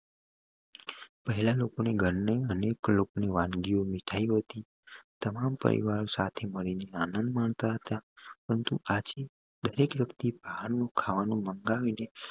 પહેલા લોકો ની ઘરની અનેક લોક ની વાનગીઓ મીઠાઈઓ થી તમામ પરિવાર સાથે મળીને આનંદ માણતા હતા પરંતુ આજે દરેક વ્યક્તિ બારણું ખાવાનું મંગાવીને